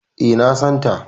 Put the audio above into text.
E, na san ta.